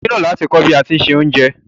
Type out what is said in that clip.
Ọ ní ilò lati kọ̀ bí àti n ṣẹ ọ̀unjẹ